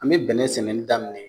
An mɛ bɛnɛ sɛnɛni daminɛ